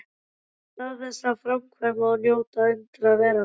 Í stað þess að framkvæma og njóta undra veraldar?